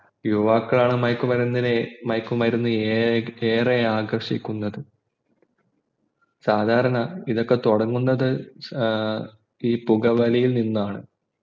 യുവാക്കളാണ് മയക്കുമരുന്നിനെ മയക്കുമരുന്ന് ഏറെ ആകർഷിക്കുന്നത് സാധരണ ഇതൊക്കെ തുടങ്ങുന്നത് ഈ പുകവലിയിൽ നിന്നാണ്